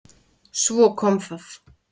Svo kom það!